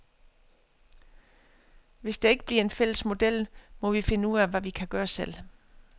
Hvis der ikke bliver en fælles model, må vi finde ud af, hvad vi kan gøre selv.